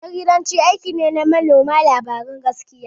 Jaridanci aiki ne na manema labaran gaskiya.